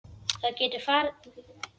Það getur vel farið svo.